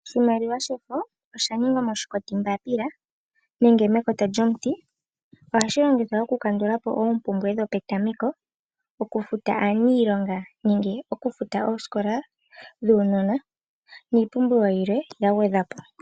Oshimaliwa shefo osha ningwa moshikotimbaapila nenge mekota lyomuti ,oha shi longithwa oku kandulapo oompumbwe dho petameko, oku futa aaniilonga nenge, oku futa oosikola dhuunona niipumbiwa dhilwe dha gwedhwapo.